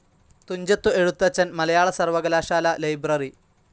തുഞ്ചത്തു എഴുത്തച്ഛൻ മലയാള സർവ്വകലാശാലാ ലൈബ്രറി